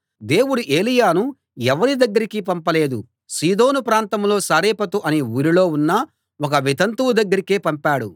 దేవుడు ఏలీయాను ఎవరి దగ్గరకీ పంపలేదు సీదోను ప్రాంతంలో సారెపతు అనే ఊరిలో ఉన్న ఒక వితంతువు దగ్గరకే పంపాడు